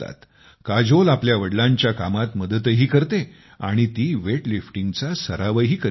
काजोल आपल्या वडिलांच्या कामात मदतही करते आणि ती वेटलिफ्टिंगचा सरावही करीत होती